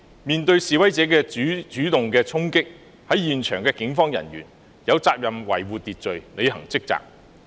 面對示威者的主動衝擊，在現場的警方人員有責任維護秩序，履行職責。